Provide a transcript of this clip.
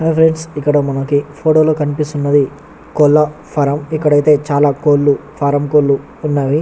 hi friends ఇక్క్కడ మనకి కనిపిస్తునది కోలా ఫారం ఇక్క్కడ అయతె కొడుల్లు చాల ఫరెన్ కోళ్ళు వున్నాయి